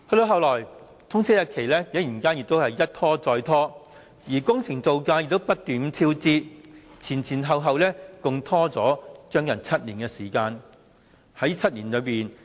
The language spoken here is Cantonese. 後來，通車日期竟然一拖再拖，工程造價亦不斷超支，前後共拖延了接近7年。